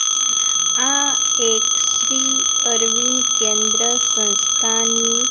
આ એક શ્રી અરવિંદ કેન્દ્ર સંસ્થાની--